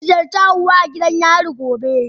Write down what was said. Zan ziyarci Hauwa a gidan yari gobe.